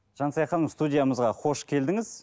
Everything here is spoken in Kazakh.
жансая ханым студиямызға қош келдіңіз